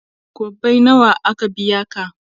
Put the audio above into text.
kwabbai nawa aka biya ka?